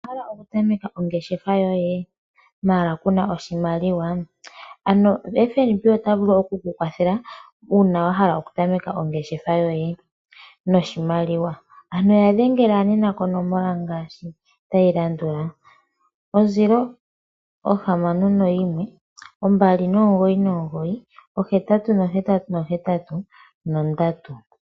Owahala oku tameka ongeshefa yoye mala kuna oshimaliwa, ano FNB ota vulu oku ku kwathela una wahala oku tameka ongeshefa yoye noshimaliwa, ano yadhengela nena konomola ngashi tayilandula 0612998883.